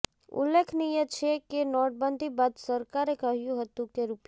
ઉલ્લેખનીય છે કે નોટબંધી બાદ સરકારે કહ્યું હતું કે રુ